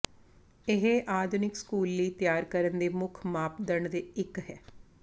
ਇਹ ਆਧੁਨਿਕ ਸਕੂਲ ਲਈ ਤਿਆਰ ਕਰਨ ਦੇ ਮੁੱਖ ਮਾਪਦੰਡ ਦੇ ਇੱਕ ਹੈ